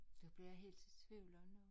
Det bliver jeg helt i tvivl om